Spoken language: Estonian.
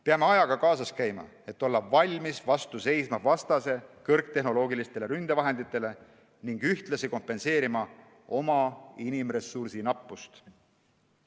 Peame ajaga kaasas käima, et olla valmis vastu seisma vastase kõrgtehnoloogilistele ründevahenditele ning ühtlasi kompenseerima oma inimressursi nappust.